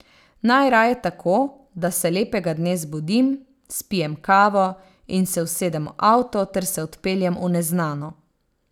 Najraje tako, da se lepega dne zbudim, spijem kavo in se usedem v avto ter se odpeljem v neznano.